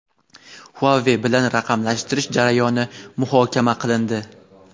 "Huawei" bilan raqamlashtirish jarayoni muhokama qilindi.